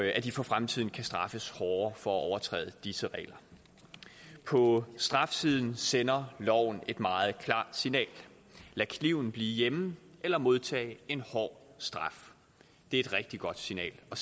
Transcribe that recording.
de for fremtiden kan straffes hårdere for at overtræde disse regler på strafsiden sender loven et meget klart signal lad kniven blive hjemme eller modtag en hård straf det er et rigtig godt signal at